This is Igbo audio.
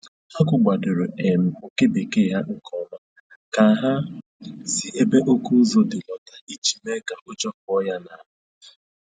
Ha gụgbadoro um oke bekee ha nke ọma ka ha si ebe oke ụzụ dị lọta iji mee ka ụjọ pụọ ya n'ahụ